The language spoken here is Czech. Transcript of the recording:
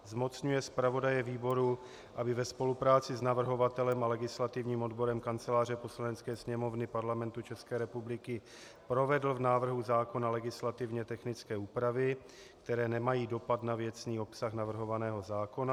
Zmocňuje zpravodaje výboru, aby ve spolupráci s navrhovatelem a legislativním odborem Kanceláře Poslanecké sněmovny Parlamentu České republiky provedl v návrhu zákona legislativně technické úpravy, které nemají dopad na věcný obsah navrhovaného zákona.